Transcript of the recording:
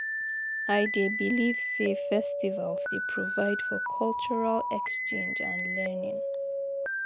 I dey believe say festivals dey provide for cultural exchange and learning.